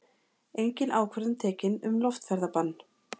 Engin ákvörðun tekin um loftferðabann